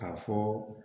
K'a fɔ